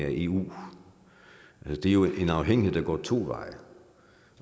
af eu det er jo en afhængighed der går to veje